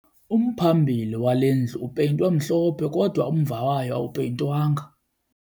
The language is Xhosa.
Umphambili wale ndlu upeyintwe mhlophe kodwa umva wayo awupeyintwanga.